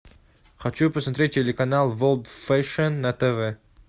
хочу посмотреть телеканал ворлд фэшн на тв